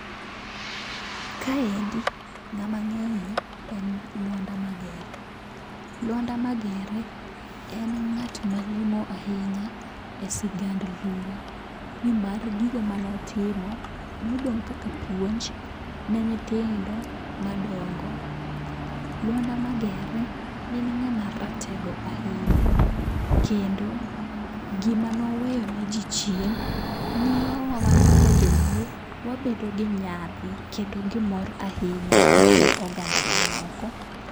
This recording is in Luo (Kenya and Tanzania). Kaendi ng'ama ng'eyo en Luanda Magere, Luanda Magere en ng'at malong'o ahinya e sigand Luo. Nimar gigo manotimo nodong' kaka puonj ne nyithindo ma dongo. Luanda Magere ne en ng'ama ratego ahinya, kendo gima noweyo ne ji chien miyo wa wan kaka jo Luo wabedo gi nyadhi kendo gi mor ahinya e kind oganda ma moko.